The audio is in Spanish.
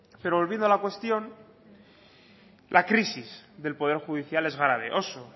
pero volviendo a la cuestión la crisis del poder judicial es grave oso